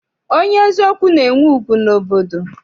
Onye eziokwu na-enwe ugwu n'obodo.